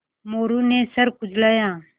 मोरू ने सर खुजलाया